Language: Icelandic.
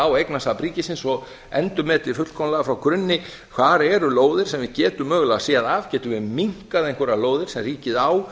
á eignasafn ríkisins og endurmeti fullkomlega frá grunni hvar eru lóðir sem við getum mögulega séð af getum við minnkað einhverjar lóðir sem ríkið á